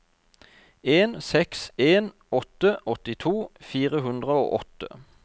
en seks en åtte åttito fire hundre og åtte